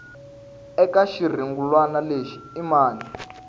eka xirungulwana lexi i mani